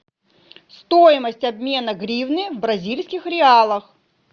стоимость обмена гривны в бразильских реалах